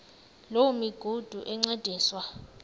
loo migudu encediswa